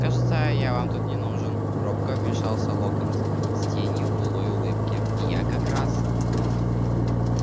кажется я вам тут не нужен робко вмешался локонс с тенью былой улыбки я как раз